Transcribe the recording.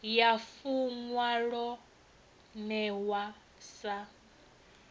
ya funwa lo newa sa